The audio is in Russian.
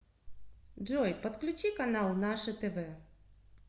джой подключи канал наше тв